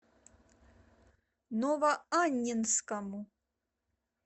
новоаннинскому